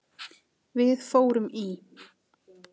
Við fórum í